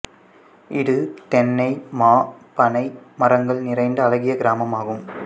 இது தென்னை மா பனை மரங்கள் நிறைந்த அழகிய கிராமமாகும்